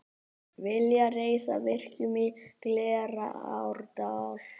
Vilja reisa virkjun í Glerárdal